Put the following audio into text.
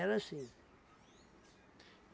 assim.